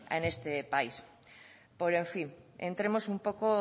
en este país pero en fin entremos un poco